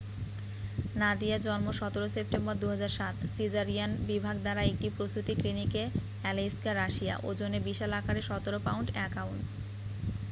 নাদিয়া জন্ম ১৭ সেপ্টেম্বর ২০০৭,সিজারিয়ান বিভাগ দ্বারা একটি প্রসূতি ক্লিনিকে আলেইস্কে, রাশিয়া ওজনে বিশাল আকারের ১৭ পাউন্ড ১ আউন্স।